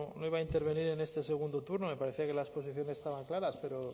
no iba a intervenir en este segundo turno me parecía que las posiciones estaban claras pero